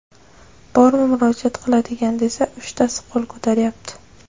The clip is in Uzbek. Bormi murojaat qiladigan desa, uchtasi qo‘l ko‘taryapti.